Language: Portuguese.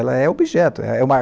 Ela é objeto. É uma